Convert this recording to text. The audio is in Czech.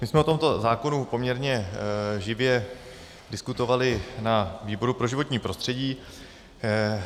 My jsme o tomto zákonu poměrně živě diskutovali na výboru pro životní prostředí.